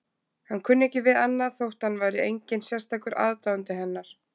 Hann kunni ekki við annað þótt hann væri enginn sérstakur aðdáandi hennar.